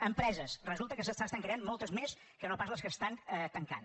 empreses resulta que se n’estan creant moltes més que no pas les que estan tancant